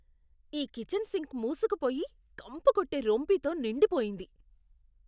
ఈ kitchen sink మూసుకుపోయి, కంపుకొట్టే రొంపితో నిండి పోయింది.